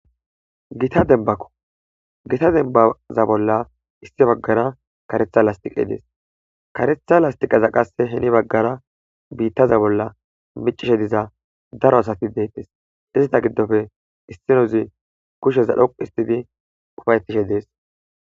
Gita denbako gita denbaza bolla issi baggara karetha lastiqe dees karetha lastiqaza qasse heni baggara biittaza bolla micishe diza daro asati deettes izita giddofe issinozi kusheza dhoqu histidi ufaytishe dees.